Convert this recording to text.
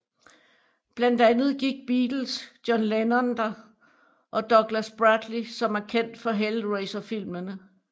Blandt andet gik Beatles John Lennon der og Douglas Bradley som er kendt for Hellraiser filmene